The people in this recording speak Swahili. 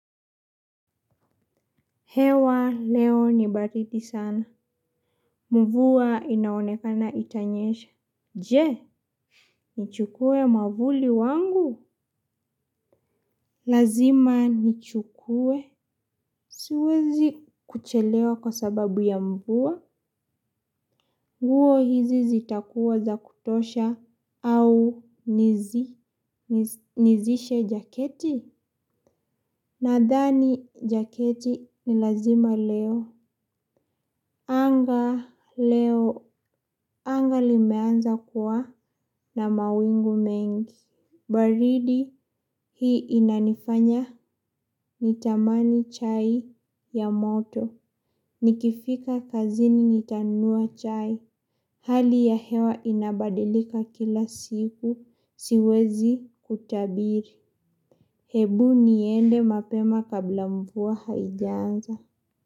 Hewa leo ni baridi sana. Mvua inaonekana itanyesha. Je, nichukue mwavuli wangu? Lazima nichukue. Siwezi kuchelewa kwa sababu ya mvua. Nguo hizi zitakuwa za kutosha au nizi nizishe jaketi. Nadhani jaketi ni lazima leo. Anga leo anga limeanza kuwa. Na mawingu mengi, baridi hii inanifanya nitamani chai ya moto, nikifika kazini nitanunua chai, hali ya hewa inabadilika kila siku, siwezi kutabiri, hebu niende mapema kabla mvua haijaanza.